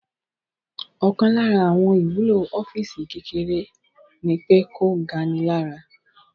Ọkàn lára àwọn ìwúlò ọ́físì kékeré ní pé kò ga ni lára